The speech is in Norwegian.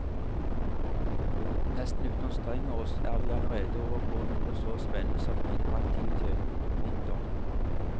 Nesten uten å anstrenge oss er vi allerede over på noe så spennende som interaktivitet. punktum